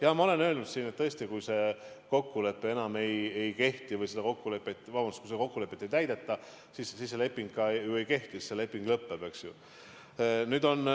Jah, ma olen öelnud, et tõesti, kui seda kokkulepet ei täideta, siis ka see leping ei kehti – siis see leping lõpeb, eks ju.